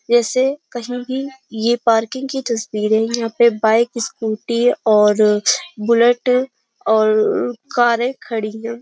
जैसे कहीं भी यह पार्किंग की तस्वीर है यहां पे बाइक स्कूटी और बुलेट और कारें खड़ी हैं।